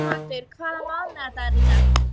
Dónaldur, hvaða mánaðardagur er í dag?